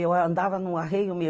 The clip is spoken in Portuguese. Eu andava no arreio